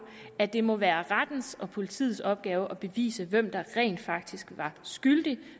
at det må være politiets opgave og at bevise hvem der rent faktisk var skyldig